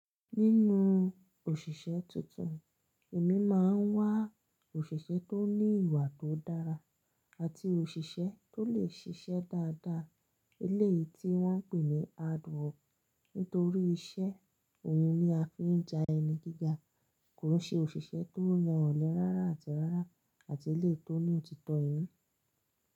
Nínú òṣìṣẹ́ tuntun, èmi máa ń wá òṣìṣẹ́ tó ní ìwà tó dára àti òṣìṣẹ́ tó lè ṣiṣẹ́ dáadáa. Eléyìí tí wọ́n pè ní hardwork nítorí iṣẹ́ òhun ni a fi ń da ẹni gíga. Kò n ṣe òṣìṣẹ́ tó ya ọ̀lẹ rárá àti rárá àti eléyìí tó ní òtítọ́ inú.